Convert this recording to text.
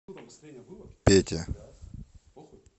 пете